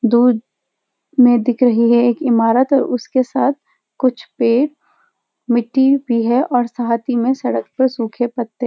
दूध में दिख रही है एक इमारत और उसके साथ कुछ पेड़ मिट्टी भी है और साहती में सड़क पर सूखे पत्ते --